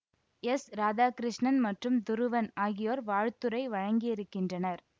எஸ்ராதாகிருஷ்ணன் மற்றும் துருவன் ஆகியோர் வாழ்த்துரை வழங்கியிருக்கின்றனர்